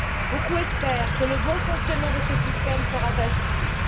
Beaucoup espèrent que le bon fonctionnement de ce système fera tache d'huile.